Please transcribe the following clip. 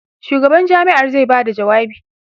shugaban jami'ar zai Bada jawabi